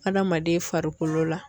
Hadamaden farikolo la.